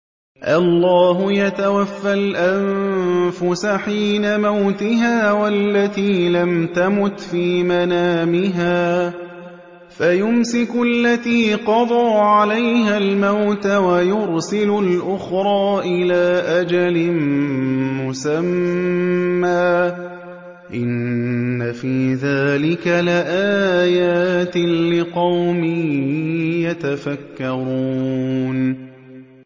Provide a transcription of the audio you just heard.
اللَّهُ يَتَوَفَّى الْأَنفُسَ حِينَ مَوْتِهَا وَالَّتِي لَمْ تَمُتْ فِي مَنَامِهَا ۖ فَيُمْسِكُ الَّتِي قَضَىٰ عَلَيْهَا الْمَوْتَ وَيُرْسِلُ الْأُخْرَىٰ إِلَىٰ أَجَلٍ مُّسَمًّى ۚ إِنَّ فِي ذَٰلِكَ لَآيَاتٍ لِّقَوْمٍ يَتَفَكَّرُونَ